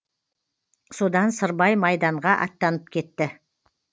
содан сырбай майданға аттанып кетті